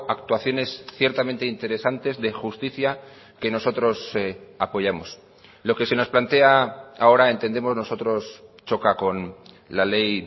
actuaciones ciertamente interesantes de justicia que nosotros apoyamos lo que se nos plantea ahora entendemos nosotros choca con la ley